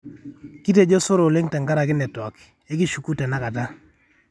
kitejo sore oleng tenkaraki network, ekishuku tenakata